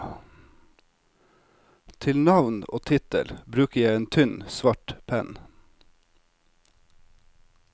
Til navn og tittel bruker jeg en tynn, svart penn.